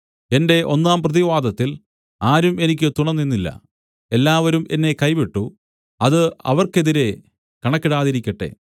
എന്റെ ഒന്നാം പ്രതിവാദത്തിൽ ആരും എനിക്ക് തുണ നിന്നില്ല എല്ലാവരും എന്നെ കൈവിട്ടു അത് അവർക്ക് എതിരെ കണക്കിടാതിരിക്കട്ടെ